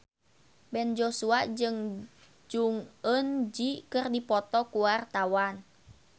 Ben Joshua jeung Jong Eun Ji keur dipoto ku wartawan